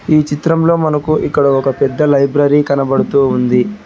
ఈ చిత్రంలో మనకు ఇక్కడ ఒక పెద్ద లైబ్రరీ కనబడుతూ ఉంది.